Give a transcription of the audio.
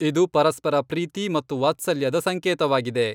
ಇದು ಪರಸ್ಪರ ಪ್ರೀತಿ ಮತ್ತು ವಾತ್ಸಲ್ಯದ ಸಂಕೇತವಾಗಿದೆ.